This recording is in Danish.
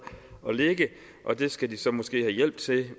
at ligge og det skal de så måske have hjælp til